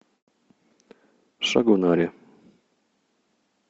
шагонаре